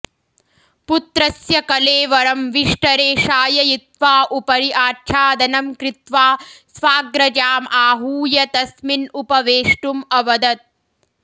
पुत्रस्य कलेवरं विष्टरे शाययित्वा उपरि आच्छादनं कृत्वा स्वाग्रजाम् आहूय तस्मिन् उपवेष्टुम् अवदत्